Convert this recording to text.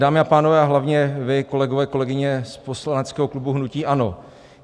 Dámy a pánové a hlavně vy kolegové, kolegyně z poslaneckého klubu hnutí ANO.